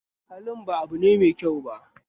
Halin ba abune mai kyau ba